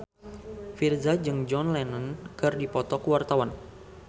Virzha jeung John Lennon keur dipoto ku wartawan